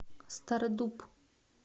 стародуб